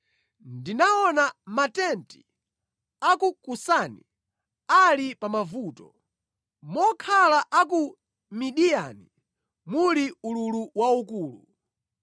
Ndinaona matenti a ku Kusani ali pa mavuto, mokhala a ku Midiyani muli ululu waukulu.